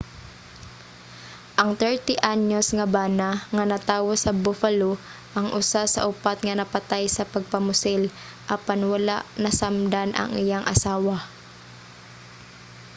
ang 30 anyos nga bana nga natawo sa buffalo ang usa sa upat nga napatay sa pagpamusil apan wala masamdan ang iyang asawa